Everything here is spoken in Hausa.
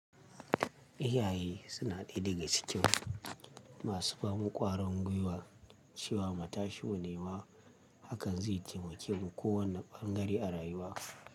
Iyaye suna ɗaya daga cikin masu ba mu ƙwarin gwiwa cewa mu tashi mu nema hakan zai taimake mu ko wanne ɓangare a rayuwa.